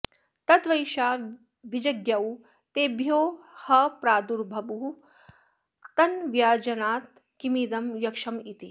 तद्धैषां विजज्ञौ तेभ्यो ह प्रादुर्बभूव तन्न व्यजानत किमिदं यक्षमिति